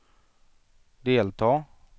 delta